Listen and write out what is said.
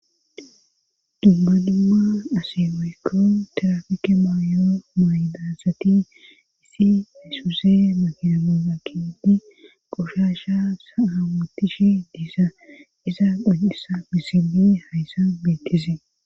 dubba dimma asimeekkon tirafike maayo maydasati isi heysuse mahinamooga kidi qoshasha aamutishi diisa iza gun7isa misili hayssa beetizee